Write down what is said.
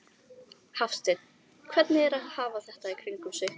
Hafsteinn: Hvernig er að hafa þetta í kringum sig?